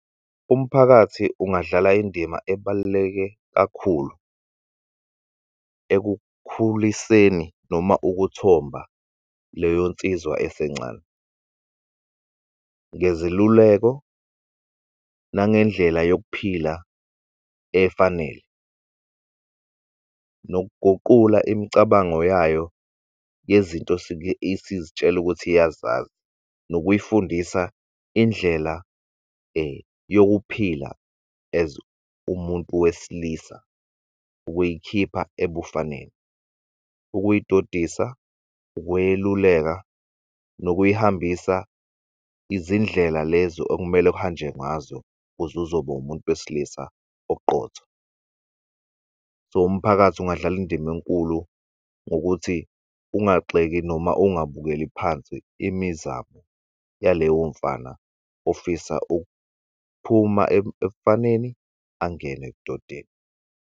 Umphakathi ungadlala indima ebaluleke kakhulu ekukhuliseni noma ukuthomba leyo nsizwa esencane, ngeziluleko nangendlela yokuphila efanele. Nokuguqula imicabango yayo yezinto esuke isizitshela ukuthi iyazazi nokuyifundisa indlela yokuphila as umuntu wesilisa ukuyikhipha ebufaneni, ukuyidodisa, ukweluleka nokuyihambisa izindlela lezo okumele kuhanjwe ngazo kuzuzoba umuntu wesilisa oqotho. So umphakathi ungadlal'indima enkulu ngokuthi ungagxeki noma ungabukeli phansi imizamo yaleyo mfana ofisa ukuphuma ebufaneni angene ebudodeni.